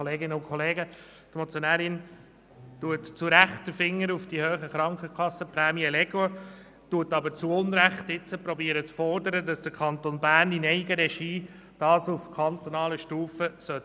Die Motionärin legt zu Recht den Finger auf die hohen Krankenkassenprämien, versucht aber jetzt zu Unrecht zu fordern, dass der Kanton Bern dies in Eigenregie auf kantonaler Stufe regeln soll.